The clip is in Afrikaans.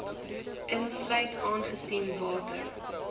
insluit aangesien water